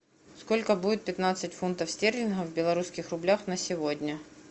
сколько будет пятнадцать фунтов стерлингов в белорусских рублях на сегодня